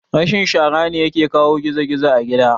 Rashin shara ne yake kawo gizo gizo a gida